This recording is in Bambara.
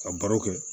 Ka baro kɛ